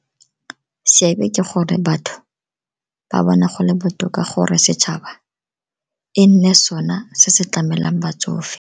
Seabe ke gore batho ba bona gole botoka gore setšhaba e nne sona se se tlamelang batsofe.